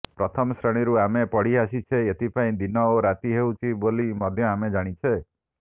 ପ୍ରଥମ ଶ୍ରେଣୀରୁ ଆମେ ପଢିଆସିଛେ ଏଥିପାଇଁ ଦିନ ଓ ରାତି ହେଉଛି ବୋଲି ମଧ୍ୟ ଆମେ ଜାଣିଛେ